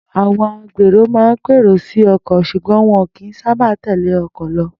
Àwo̩n agbèrò máa ń pèrò sí o̩kò̩ s̩ùgbó̩n wo̩n kìí sábà tèlé o̩kò̩ lo̩